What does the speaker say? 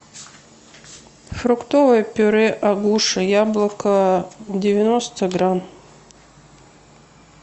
фруктовое пюре агуша яблоко девяносто грамм